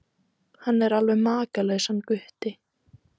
Hann er alveg makalaus hann Gutti.